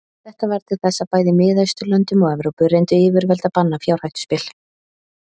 Þetta varð til þess að bæði í Mið-Austurlöndum og Evrópu reyndu yfirvöld að banna fjárhættuspil.